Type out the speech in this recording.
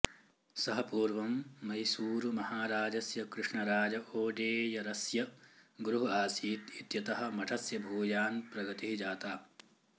सः पूर्वं मैसूरुमहाराजस्य कृष्णराज ओडेयरस्य गुरुः आसीत् इत्यतः मठस्य भूयान् प्रगतिः जाता